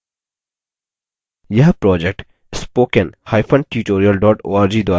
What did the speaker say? यह project